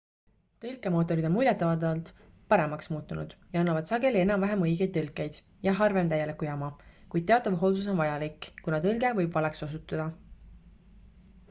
tõlkemootorid on muljetavaldavalt paremaks muutunud ja annavad sageli enam-vähem õigeid tõlkeid ja harvem täielikku jama kuid teatav hoolsus on vajalik kuna tõlge võib valeks osutuda